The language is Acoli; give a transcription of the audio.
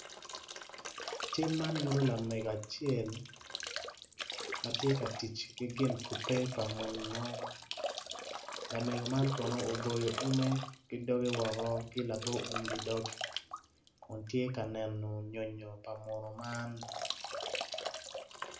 Cal man nyuto lamego acel ma tye ka tic ki gin kubbe pa muno lamego man kono oboyo ume woko ki labo um ki dog kun tye ka neno nyonyo pa muno man.